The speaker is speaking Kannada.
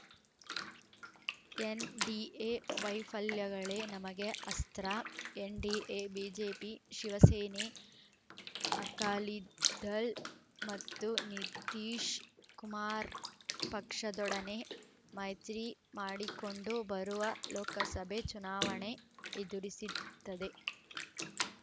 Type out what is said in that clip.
ಎನ್‌ಡಿಎ ವೈಫಲ್ಯಗಳೇ ನಮಗೆ ಅಸ್ತ್ರ ಎನ್‌ಡಿಎ ಬಿಜೆಪಿ ಶಿವಸೇನೆ ಅಕಾಲಿದಲ್ ಮತ್ತು ನಿತೀಶ್‌ ಕುಮಾರ್‌ ಪಕ್ಷದೊಡನೆ ಮೈತ್ರಿ ಮಾಡಿಕೊಂಡು ಬರುವ ಲೋಕಸಭೆ ಚುನಾವಣೆ ಎದುರಿಸಿತ್ತದೆ